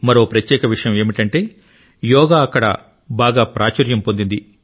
మరో ప్రత్యేక విషయం ఏమిటంటే యోగా అక్కడ బాగా ప్రాచుర్యం పొందింది